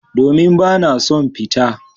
Domin bana son fita.